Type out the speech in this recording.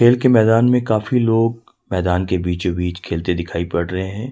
खेल के मैदान में काफी लोग मैदान के बीचो बीच खेलते दिखाई पड़ रहे हैं।